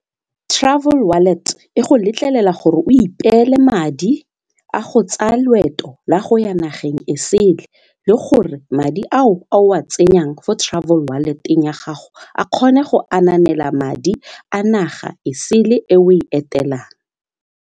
Travel wallet e go letlelela gore o ipeele madi a go tsaya loeto la go ya nageng e sele le gore madi ao a o a tsenyang fo travel wallet-eng ya gago a kgone go ananela madi a naga e sele e o e etelelang.